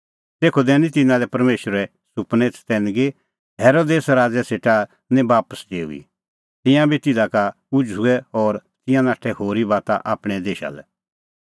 तेखअ दैनी तिन्नां लै परमेशरै सुपनै चतैनगी हेरोदेस राज़ै सेटा लै निं बापस डेऊई तिंयां बी तिधा का उझ़ुऐ और तिंयां नाठै होरी बाता आपणैं देशा लै